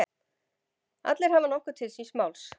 Allir hafa nokkuð til síns máls.